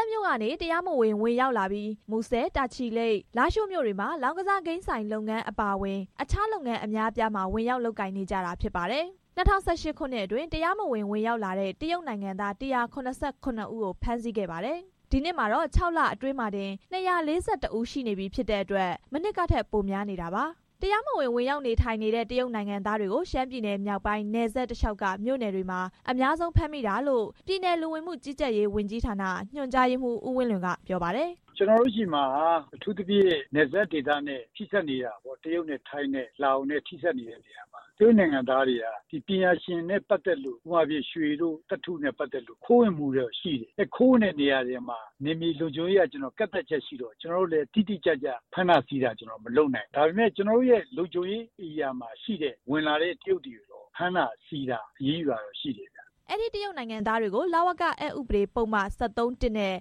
ပ်မြို့ကနေ တရားမဝင် ဝင်ရောက်လာပြီး မူဆယ်၊ တာချီလိတ်၊ လားရှိုးမြို့တွေမှာ လောင်းကစားဂိမ်းဆိုင် လုပ်ငန်းအပါအဝင် တခြားလုပ်ငန်း အများအပြားမှာ ဝင်ရောက်လုပ်ကိုင်နေကြတာ ဖြစ်ပါတယ်။ ၂၀၁၈ ခုနှစ်အတွင်း တရားမဝင် ဝင်ရောက်လာတဲ့ တရုတ်နိုင်ငံသား ၁၇၇ ဦးကို ဖမ်းဆီးခဲ့ပါတယ်။ ဒီနှစ်မှာတော့ ၆ လအတွင်းမှာတင် ၂၄၁ ဦးအထိ ရှိနေပြီဖြစ်တဲ့အတွက် မနှစ်ကထက် ပိုများနေတာပါ။ တရားမဝင် ဝင်ရောက်နေထိုင်နေတဲ့ တရုတ်နိုင်ငံသားတွေကို ရှမ်းပြည်နယ်မြောက်ပိုင်း နယ်စပ်တလျှောက်က မြို့နယ်တွေမှာ အများဆုံးဖမ်းမိတာလို့ ပြည်နယ် လူဝင်မှုကြီးကြပ်ရေးဝန်ကြီးဌာန ညွှန်ကြားရေးမှူး ဦးဝင်းလွင် က ပြောပါတယ်။ "ကျွန်တော်တို့ဆီမှာက အထူးသဖြင့် နယ်စပ်ဒေသနဲ့ ထိစပ်နေတယ်။ အထူးသဖြင့်ထိုင်း၊ တရုတ်၊ လာအိုနဲ့ ထိစပ် နေတဲ့နေရာပါ။ တရုတ်နိုင်ငံသားတွေဟာပညာရှင်နဲ့ ပတ်သက်လို့ ရွှေတို့သတ္တုနဲ့ ပတ်သက်လို့ ခိုးဝင်မှုတွေ ရှိတယ်။ ခိုးဝင်တဲ့နေရာတွေမှာ နယ်မြေလုံခြုံရေးအရ ကန့်သတ်ချက်ရှိလို့ ကျွန်တော်တို့လည်း တိတိကျကျ ဖမ်းဆီးတာတွေ မလုပ်နိုင်ဘူး။ဒါပေမဲ့ ကျွန်တော်တို့ရဲ့ လုံခြုံရေးနေရာတွေမှာ ဝင်လာတဲ့တရုတ်တွေကိုတော့ ဖမ်းဆီးအရေးယူတာတွေတော့ရှိတယ်။" အဲဒီတရုတ်နိုင်ငံသားတွေကို လဝကအက်ဥပဒေပုဒ် ၁၃(၁) နဲ့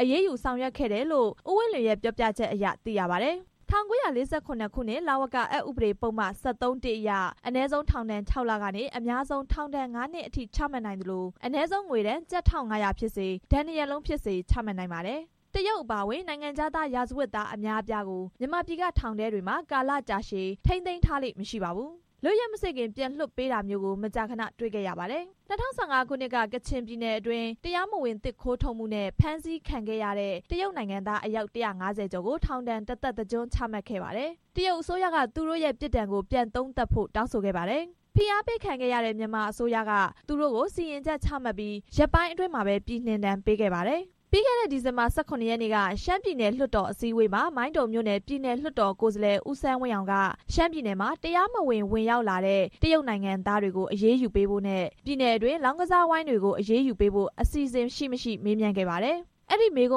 အရေးယူဆောင်ရွက်ခဲ့တယ်လို့ ဦးဝင်းလွင်ရဲ့ ပြောပြချက်အရ သိရပါတယ်။ ၁၉၄၇ ခုနှစ် လဝကအက်ဥပဒေပုဒ်မ ၁၃ (၁) အရ အနည်းဆုံးထောင်ဒဏ် ၆ လ ကနေ အများဆုံးထောင်ဒဏ် ၅ နှစ်အထိ ချမှတ်နိုင်သလို အနည်းဆုံးငွေဒဏ် ကျပ် ၁၅၀၀ ဖြစ်စေ၊ ဒဏ်နှစ်ရပ် လုံးဖြစ်စေ ချမှတ်နိုင်ပါတယ်။ တရုတ် အပါအဝင် နိုင်ငံခြားသား ရာဇဝတ်သား အများအပြားကို မြန်မာပြည်က ထောင်တွေထဲမှာ ကာလကြာရှည် ထိန်းသိမ်းထားလေ့မရှိပါဘူး။ လွတ်ရက်မစေ့ခင် ပြန်လွှတ်ပေးတာမျိုးကို မကြာခဏ တွေ့ခဲ့ရပါတယ်။ ၂၀၁၅ ခုနှစ်က ကချင်ပြည်နယ်အတွင်း တရားမဝင်သစ်ခိုးထုတ်မှုနဲ့ ဖမ်းဆီးခံရတဲ့ တရုတ်နိုင်ငံသား အယောက် ၁၅ဝ ကျော်ကို ထောင်ဒဏ် တစ်သက်တစ်ကျွန်း ချမှတ်ခဲ့ပါတယ်။ တရုတ်အစိုးရက သူတို့ရဲ့ ပြစ်ဒဏ်ကို ပြန်သုံးသပ်ဖို့ တောင်းဆိုခဲ့ပါတယ်။ ဖိအားပေးခံရတဲ့ မြန်မာအစိုးရက သူတို့ကို စီရင်ချက်ချမှတ်ပြီး ရက်ပိုင်းအတွင်းမှာပဲ ပြည်နှင်ဒဏ်ပေးခဲ့ပါတယ်။ ပြီးခဲ့တဲ့ ဒီဇင်ဘာ ၁၇ရက်နေ့က ရှမ်းပြည်နယ်လွှတ်တော် အစည်းအဝေးမှာ မိုင်းတုံမြို့နယ် ပြည်နယ်လွှတ်တော် ကိုယ်စားလှယ် ဦးဆန်းဝင်းအောင်က ရှမ်းပြည်နယ်မှာ တရားမဝင် ဝင်ရောက်လာတဲ့ တရုတ်နိုင်ငံသားတွေကို အရေးယူပေးဖို့နဲ့ ပြည်နယ်အတွင်း လောင်းကစားဝိုင်းတွေကို အရေးယူပေးဖို့ အစီအစဉ်ရှိ၊ မရှိ မေးမြန်းခဲ့ပါတယ်။ အဲဒီမေးခွ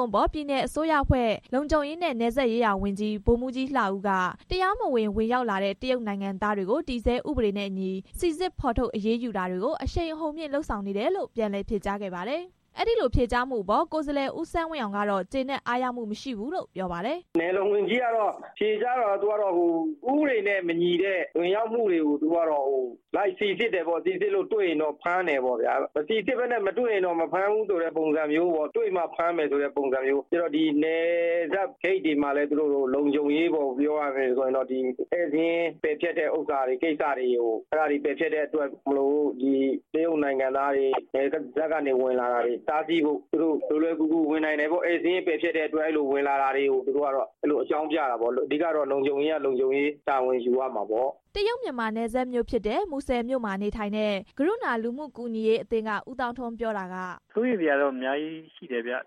န်းအပေါ် ပြည်နယ်အစိုးရအဖွဲ့ လုံခြုံရေးနဲ့နယ်စပ်ရေးရာဝန်ကြီး ဗိုလ်မှူးကြီး လှဦးက တရားမဝင် ဝင်ရောက်လာတဲ့ တရုတ်နိုင်ငံသားတွေကို တည်ဆဲဥပဒေနဲ့အညီ စီစစ်ဖော်ထုတ် အရေးယူတာတွေကို အရှိန်အဟုန်မြှင့်လုပ်ဆောင်နေတယ်လို့ ပြန်လည်ဖြေကြားခဲ့ပါတယ်။ အဲဒီလိုဖြေကြားမှုအပေါ် ကိုယ်စားလှယ် ဦးဆန်းဝင်းအောင်ကတော့ ကျေနပ်အားရမှုမရှိဘူးလို့ ပြောပါတယ်။ "နယ်လုံဝန်ကြီးဖြေကြားတာက ဥပဒေနဲ့မညီတဲ့ ဝင်ရောက်မှုတွေကို လိုက်စီစစ်တယ်ပေါ့။ စီစစ်လို့တွေ့ရင်တော့ ဖမ်းတယ်ပေါ့။ မစီစစ်ဘဲနဲ့ မတွေ့ရင်တော့ မဖမ်းဘူးဆိုတဲ့ပုံစံမျိုးပေါ့။ နယ်စပ်ဂိတ်တွေမှာလည်း ဧည့်စာရင်း ပယ်ဖျက်တဲ့အတွက် တရုတ်နိုင်ငံသားတွေ နယ်စပ်က လွယ်လွယ်ကူကူဝင်လာနိုင်တယ်ပေါ့။ ဒီလိုဝင်လာတာတွေ ကို သူတို့ကအကြောင်းပြတာပေါ့။ အဓိကတော့ လုံခြုံရေးက လုံခြုံရေးတာဝန်ယူရမှာပေါ့" တရုတ်-မြန်မာနယ်စပ်မြို့ဖြစ်တယ် မူဆယ်မြို့မှာ နေထိုင်တဲ့ ကရုဏာလူမှုကူညီရေးအသင်းက ဦးသောင်းထွန်း ပြောတာက “စိုးရိမ်စရာတော့ အများကြီးရှိတယ်။ တရား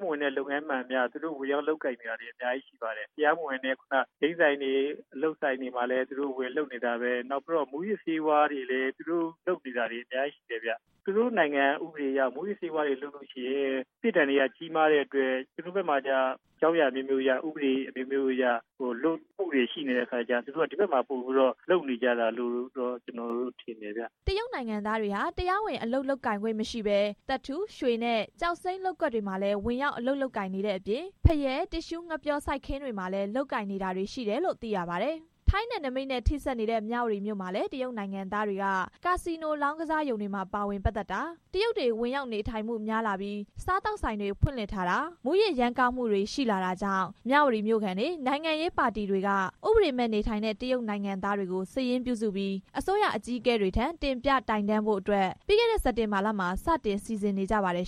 မဝင်တဲ့လုပ်ငန်းမှန်သမျှ သူတို့ဝင်ရောက်လုပ်ကိုင်နေတာတွေ အများကြီးရှိပါတယ်။ တရားမဝင်တဲ့ဂိမ်းဆိုင်တွေမှာလည်း သူတို့ဝင်လုပ်နေတယ်။ မူးယစ်ဆေးဝါးတွေလည်း သူတို့လုပ်နေတာတွေ အများကြီးရှိတယ်။ သူတို့နိုင်ငံကဥပဒေအရ မူးယစ်ဆေးဝါးလုပ်ရင် ပြစ်ဒဏ်တွေက ကြီးမားတဲ့အတွက် ကျွန်တော်တို့ဘက်မှာက အကြောင်းအရာအမျိုးမျိုးအရ၊ ဥပဒေအမျိုးမျိုးအရ လွတ်တာတွေ ရှိနေတော့ သူတို့ဒီဘက်မှာ ပိုလုပ်နေကြတာလို့ ကျွန်တော်ထင်တယ်။" တရုတ်နိုင်ငံသားတွေဟာ တရားဝင်အလုပ် လုပ်ကိုင်ခွင့်မရှိဘဲ သတ္တု၊ ရွှေနဲ့ ကျောက်စိမ်းလုပ်ကွက်တွေမှာလည်း ဝင်ရောက်အလုပ်လုပ်ကိုင်နေတဲ့အပြင် ဖရဲ၊ တစ်သျှူးငှက်ပျောစိုက်ခင်းတွေမှာလည်း လုပ်ကိုင်နေတာတွေ ရှိနေတယ်လို့သိရပါတယ်။ ထိုင်းနယ်နိမိတ်နဲ့ ထိစပ်နေတဲ့ မြဝတီမြို့မှာလည်း တရုတ်နိုင်ငံသားတွေက ကာစီနိုလောင်းကစားရုံတွေမှာ ပါဝင်ပတ်သက်တာ၊ တရုတ်တွေ ဝင်ရောက်နေထိုင်မှုများလာပြီး စားသောက်ဆိုင်တွေ ဖွင့်လှစ်ထားတာ၊ မူးယစ် ရမ်းကားတာတွေရှိလာတာကြောင့် မြဝတီမြို့ခံတွေ၊ နိုင်ငံရေးပါတီတွေက ဥပဒေမဲ့နေထိုင်တဲ့ တရုတ်နိုင်ငံ သားတွေကို စာရင်းပြုစုပြီး အစိုးရအကြီးအကဲတွေထံ တင်ပြတိုင်တန်းဖို့အတွက် ပြီးခဲ့တဲ့စက်တင်ဘာလမှာ စတင်စီစဉ်နေကြပါတယ်